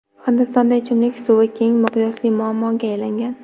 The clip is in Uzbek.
Hindistonda ichimlik suvi keng miqyosli muammoga aylangan.